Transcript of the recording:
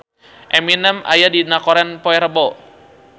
Eminem aya dina koran poe Rebo